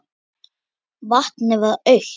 Vatnið var autt.